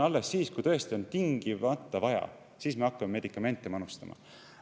Alles siis, kui tõesti on tingimata vaja, me hakkame medikamente manustama.